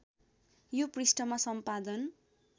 यो पृष्ठमा सम्पादन